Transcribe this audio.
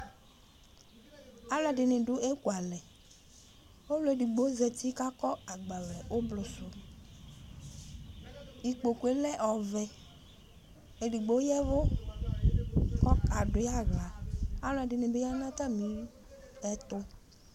alò ɛdini do eku alɛ ɔlò edigbo zati k'akɔ agbavlɛ ublu sò ikpoku yɛ lɛ ɔvɛ edigbo ya vu k'ɔka do yi ala alò ɛdini bi ya n'atami ɛto